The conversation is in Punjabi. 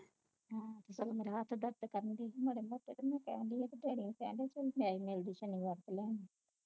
ਹੈ ਸਗੋਂ ਮੇਰਾ ਹੱਥ ਦਰਦ ਕਾਰਨ ਦੀ ਮਾਰੇ ਮੋਟੇ ਮਿਲਦੀ ਸ਼ਨੀਵਾਰ ਨੂੰ ਲਈ ਐਂਡੀ